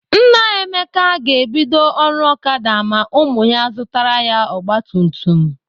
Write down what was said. Nna Emeka ga-ebido ọrụ Okada ma ụmụ ya zụtara ya ọgbatumtum.